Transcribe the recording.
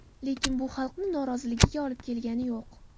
Lekin bu xalqni noroziligiga olib kelgani yo‘q.